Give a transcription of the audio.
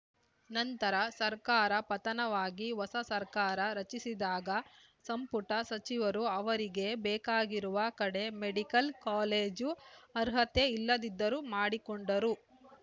ನಂತರ ಸರ್ಕಾರ ಪತನವಾಗಿ ಹೊಸ ಸರ್ಕಾರ ರಚಿಸಿದಾಗ ಸಂಪುಟ ಸಚಿವರು ಅವರಿಗೆ ಬೇಕಾಗಿರುವ ಕಡೆ ಮೆಡಿಕಲ್‌ ಕಾಲೇಜು ಅರ್ಹತೆ ಇಲ್ಲದಿದ್ದರೂ ಮಾಡಿಕೊಂಡರು